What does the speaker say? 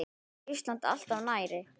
Samt er Ísland alltaf nærri.